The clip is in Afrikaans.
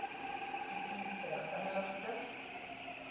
item ter inligting